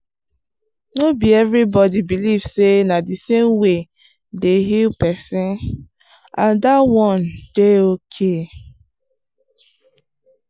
no be everybody believe say na the same way dey heal person and that one dey okay.